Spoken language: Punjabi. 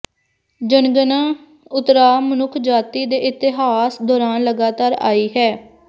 ਜਨਗਣਨਾ ਉਤਰਾਅ ਮਨੁੱਖਜਾਤੀ ਦੇ ਇਤਿਹਾਸ ਦੌਰਾਨ ਲਗਾਤਾਰ ਆਈ ਹੈ